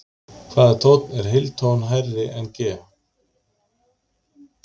Hvaða tónn er heiltón hærri en G?